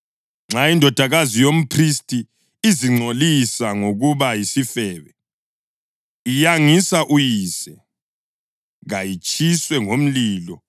Nxa indodakazi yomphristi izingcolisa ngokuba yisifebe, iyangisa uyise; kayitshiswe ngomlilo.